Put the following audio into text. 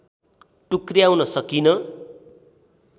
टुक्र्याउन सकिन